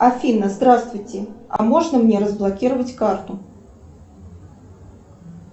афина здравствуйте а можно мне разблокировать карту